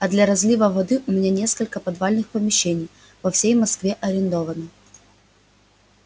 а для разлива воды у меня несколько подвальных помещений по всей москве арендовано